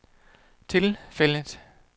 tilfældet